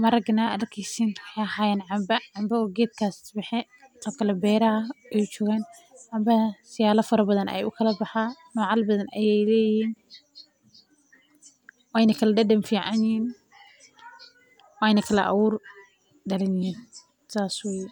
maragan aad arkeysan wexee hayan canba, canba oo geedka baxay, sithokale beraha ayey jogan, canbaha siyafa badhan ayey oo kala baxan ,nocal badan ayey leyihin, wena kala dadan ficanyihin, weyna kala awuur daranyihin sas weye.